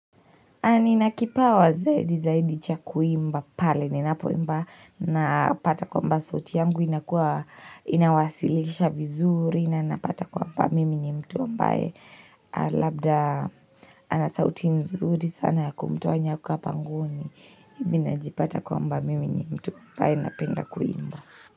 Na ninakipawa zaidi zaidi cha kuimba pale ninapoimba napata kwamba sauti yangu inakuwa inawasilisha vizuri na napata kwamba mimi ni mtu mbaye labda ana sauti nzuri sana ya kumtoa nyoka pangoni mimi ninajipata kwamba mimi ni mtu mbaye anapenda kuimba.